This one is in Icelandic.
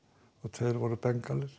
tveir voru